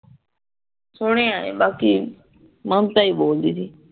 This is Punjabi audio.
ਸੁਣਿਆ ਈ ਆ ਬਾਕੀ ਮਮਤਾ ਹੀ ਬੋਲਦੀ